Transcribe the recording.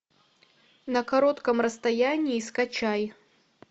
на коротком расстоянии скачай